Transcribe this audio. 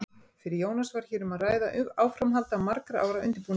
Fyrir Jónas var hér um að ræða áframhald af margra ára undirbúningi.